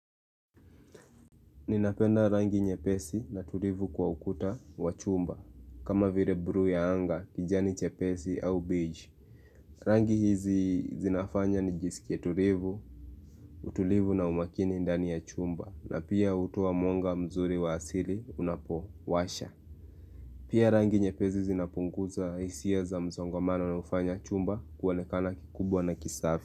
Ninapenda rangi nyepesi na tulivu kwa ukuta wa chumba kama vile blue ya anga, kijani chepesi au beach Rangi hizi zinafanya nijisikia tulivu, utulivu na umakini ndani ya chumba na pia hutoa mwanga mzuri wa asili unapowasha Pia rangi nyepesi zinapunguza hisia za msongamano na kufanya chumba kuonekana kikubwa na kisafi.